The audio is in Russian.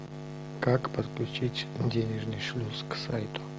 как подключить денежный шлюз к сайту